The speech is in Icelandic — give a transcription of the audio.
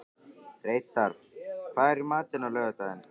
Reidar, hvað er í matinn á laugardaginn?